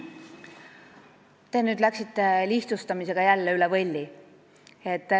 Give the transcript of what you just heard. Te nüüd läksite jälle lihtsustamisega üle võlli.